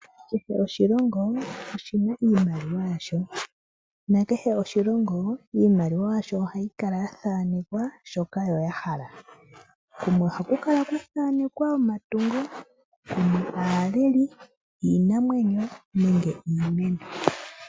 Kehe oshilongo oshina iimaliwa yasho nakehe oshilongo iimaliwa yasho ohayi kala ya thaanekwa shoka yo ya hala kumwe ohaku kala Kwa thaanekwa omatungo, kumwe aaleli, iinamwenyo nenge iimeno.